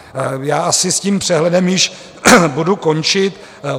Já asi s tím přehledem již budu končit.